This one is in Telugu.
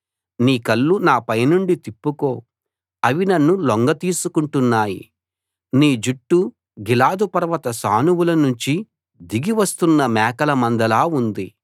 నీ కళ్ళు నాపైనుండి తిప్పుకో అవి నన్ను లొంగతీసుకుంటున్నాయి నీ జుట్టు గిలాదు పర్వత సానువుల నుంచి దిగి వస్తున్న మేకల మందలా ఉంది